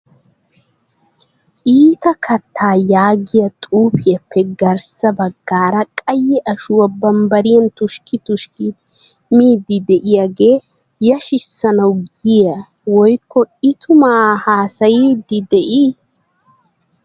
"Iita kattaa" yaagiya xuufiyappe garssa baggaara qaye ashuwaa bambbariyan tushkki tushkkidi miidi de'iyaage yashshisanawu giiye woykko I tuma haassayidei de'ii?